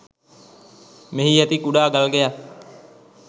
මෙහි ඇති කුඩා ගල්ගෙයක්